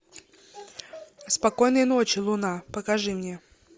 спокойной ночи луна покажи мне